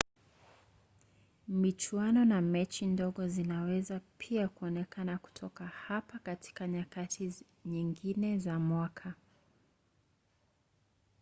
michuano na mechi ndogo zinaweza pia kuonekana kutoka hapa katika nyakati nyingine za mwaka